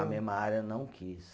Na mesma área, não quis.